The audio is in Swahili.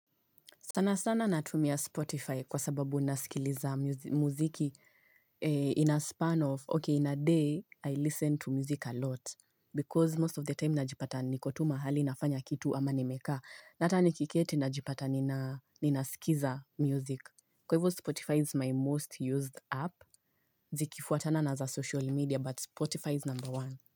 Sana sana natumia Spotify kwa sababu nasikiliza muziki in a span of, okay in a day I listen to music a lot. Because most of the time najipata niko tu mahali nafanya kitu ama nimekaa. Na ata nikiketi najipata ninasikiza music. Kwa hivu Spotify is my most used app. Zikifuatana na za social media but Spotify is number one.